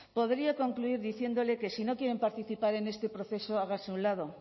podría concluir diciéndole que si no quieren participar en este proceso hágase a un lado